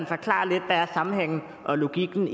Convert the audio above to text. forklare lidt hvad sammenhængen og logikken